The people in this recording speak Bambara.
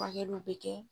Furakɛliw bɛ kɛ